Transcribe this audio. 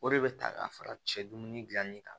O de bɛ ta ka fara cɛ dumuni gilanni kan